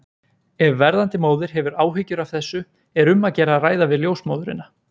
Ef verðandi móðir hefur áhyggjur af þessu er um að gera að ræða við ljósmóðurina.